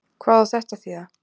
Hvað á þetta að þýða?